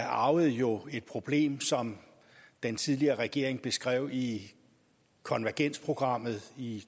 arvede jo et problem som den tidligere regering beskrev i konvergensprogrammet i